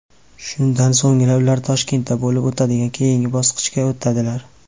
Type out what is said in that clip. Shundan so‘nggina ular Toshkentda bo‘lib o‘tadigan keyingi bosqichga o‘tadilar.